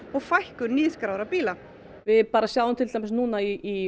og fækkun nýskráðra bíla við bara sjáum til dæmis núna í